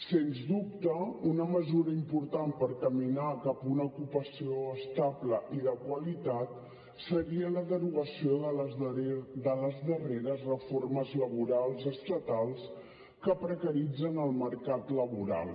sens dubte una mesura important per caminar cap a una ocupació estable i de qualitat seria la derogació de les darreres reformes laborals estatals que precaritzen el mercat laboral